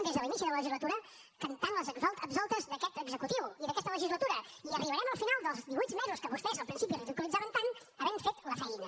des de l’inici de la legislatura que canten les absoltes d’aquest executiu i d’aquesta legislatura i arribarem al final dels divuit mesos que vostès al principi ridiculitzaven tant havent fet la feina